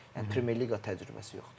Yəni Premyer Liqa təcrübəsi yoxdur.